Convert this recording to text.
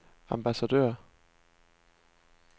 ambassadør